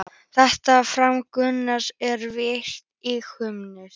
Þetta framtak Gunnars er vert íhugunar.